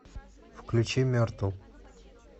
включи мертл